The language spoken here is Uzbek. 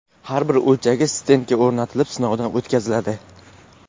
Har bir o‘lchagich stendga o‘rnatilib, sinovdan o‘tkaziladi.